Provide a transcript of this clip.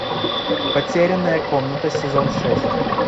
потерянная комната сезон шесть